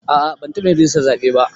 A'a ban taɓa yin rijistar zaɓe ba